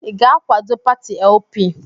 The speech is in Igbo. Ị ga-akwado pati LP?